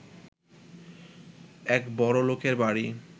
এক বড়লোকের বাড়ি